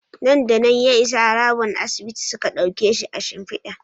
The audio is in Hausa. Nan da nan ya isa harabar asibitin suka dauke shi a shimfida